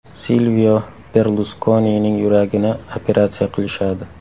Silvio Berluskonining yuragini operatsiya qilishadi.